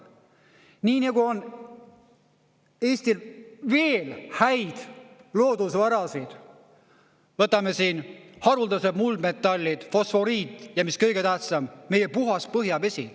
Nii nagu on Eestil veel häid loodusvarasid, võtame siin haruldased muldmetallid – fosforiit –, ja mis kõige tähtsam, meie puhas põhjavesi.